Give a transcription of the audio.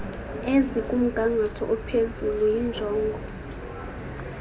ezikumgangatho ophezulu yinjongo